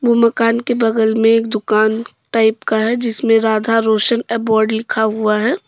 उ मकाम के बगल में एक दुकान टाइप का है जिसमें राधा रोशन अबोड लिखा हुआ है।